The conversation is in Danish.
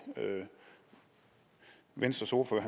venstres ordfører